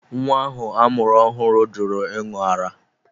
Nwa ahụ amụrụ ọhụrụ jụrụ ịṅụ ara.